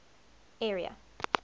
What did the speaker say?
area